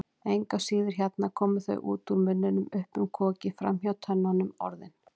Engu að síður, hérna koma þau, út úr munninum, upp um kokið, framhjá tönnunum, Orðin.